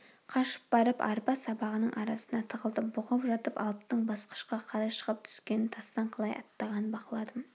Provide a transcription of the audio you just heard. қашып барып арпа сабағының арасына тығылдым бұғып жатып алыптың басқышқа қалай шығып-түскенін тастан қалай аттағанын бақыладым